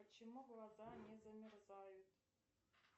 почему глаза не замерзают